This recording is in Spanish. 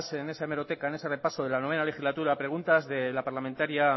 en esa hemeroteca en ese repaso de la noveno legislatura preguntas de la parlamentaria